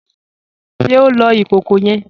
Ṣe o lọ ikọkọ yẹn?